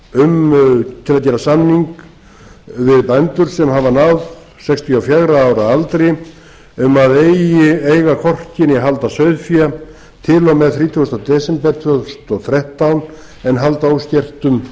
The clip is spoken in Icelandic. til að gera samning við bændur sem hafa ná sextíu og fjögurra ára aldri um að eiga hvorki né halda sauðfé til og með þrítugasti desember tvö þúsund og þrettán en halda óskertum